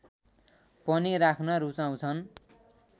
पनि राख्न रुचाउँछन्